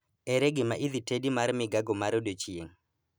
Ere gima idhi tedi mar migago mar odiechieng'